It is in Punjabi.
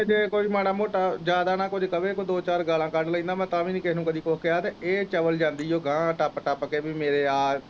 ਜ ਕੋਈ ਮਾਰਾ ਮੋਟਾ ਜਿਆਦਾ ਨਾ ਕੁਝ ਕਵੇ ਕੋਈ ਦੋ ਚਾਰ ਗਾਲ਼ਾਂ ਕੱਢ ਲੈਂਦਾ ਮੈਂ ਤਾਂ ਵੀ ਨੀ ਕਿਹ ਨੂੰ ਕਦੇ ਕੁਝ ਕਿਹਾ ਤੇ ਇਹ ਚਵਲ ਜਾਂਦੀ ਓ ਗਾਂ ਟਾਪ ਟਾਪ ਕ ਮੇਰੇ